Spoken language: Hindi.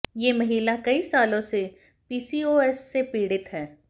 ये महिला कई सालों से पीसीओएस से पीड़ित है